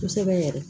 Kosɛbɛ yɛrɛ